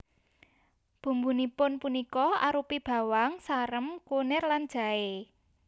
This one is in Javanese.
Bumbunipun punika arupi bawang sarem kunir lan jaé